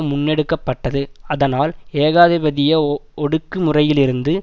முன்னெடுக்க பட்டது அதனால் ஏகாதிபதிய ஒடுக்கு முறையிலிருந்து